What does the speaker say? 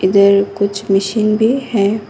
इधर कुछ मशीन भी है।